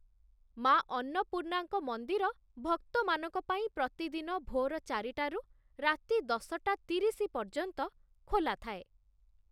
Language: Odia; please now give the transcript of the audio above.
ମା ଅନ୍ନପୂର୍ଣ୍ଣାଙ୍କ ମନ୍ଦିର ଭକ୍ତମାନଙ୍କ ପାଇଁ ପ୍ରତିଦିନ ଭୋର ଚାରିଟାରୁ ରାତି ଦଶଟା ତିରିଶି ପର୍ଯ୍ୟନ୍ତ ଖୋଲାଥାଏ।